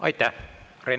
Aitäh!